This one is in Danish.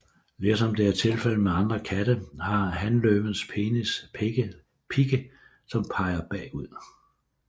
Ligesom det er tilfældet med andre katte har hanløvens penis pigge som peger bagud